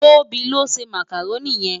Tobi ló njè mákáróni yèn